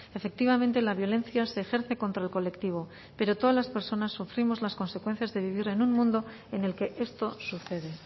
efectivamente la violencia se ejerce contra el colectivo pero todas las personas sufrimos las consecuencias de vivir en un mundo en el que esto sucede